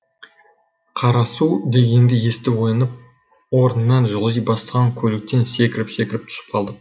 қарасу дегенді естіп оянып орнынан жылжи бастаған көліктен секіріп секіріп түсіп қалдық